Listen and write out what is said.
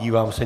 Dívám se.